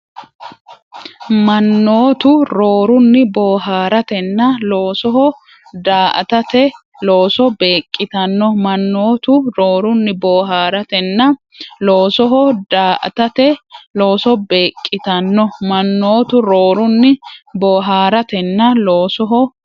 Mannootu roorunni boohaaratenna loosoho daa”atate looso beeq- qitanno Mannootu roorunni boohaaratenna loosoho daa”atate looso beeq- qitanno Mannootu roorunni boohaaratenna loosoho.